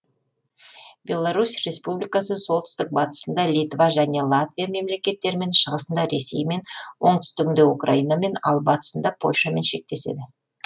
беларусь республикасы солтүстік батысында литва және латвия мемлекеттерімен шығысында ресеймен оңтүстігінде украинамен ал батысында польшамен шектеседі